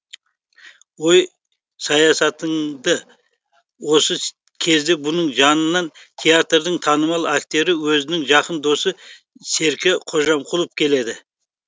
ой саясатыңды осы кезде бұның жанына театрдың танымал актері өзінің жақын досы серке қожамқұлов келеді